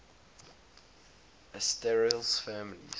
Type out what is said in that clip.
asterales families